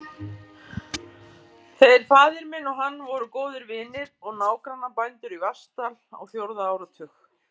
Þeir faðir minn og hann voru góðir vinir og nágrannabændur í Vatnsdal á fjórða áratug.